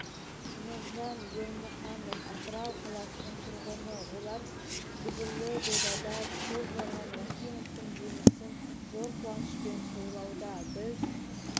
нұржан ермұқанов атырау қаласының тұрғыны олар дүбірлі додада топ жарған рахимовтың жеңісін зор қуанышпен тойлауда біз